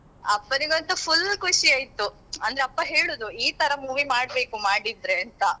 ಅಪ್ಪನಿಗೆ ಅಂತು full ಖುಷಿ ಆಯ್ತು ಅಂದ್ರೆ ಅಪ್ಪ ಹೇಳುದು ಈ ತರ movie ಮಾಡ್ಬೇಕು ಮಾಡಿದ್ರೆ ಅಂತ.